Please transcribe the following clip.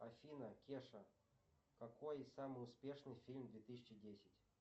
афина кеша какой самый успешный фильм две тысячи десять